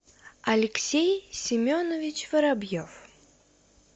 алексей семенович воробьев